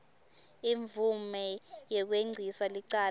imvume yekwengcisa licala